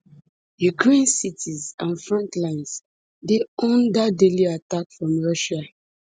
ukraine cities and front lines dey under daily attack from russia